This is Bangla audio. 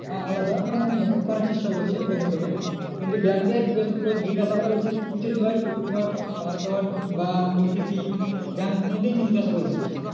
হ্যাঁ আলাদা মানে hack করার চেষ্টা করছে bank তোকে, কিন্তু bank এ তোর জিজ্ঞাসা করা উচিত, উচিত নয় কিন্তু তোমার password বা OTP bank কোনো দিন জিজ্ঞাসা করবে না।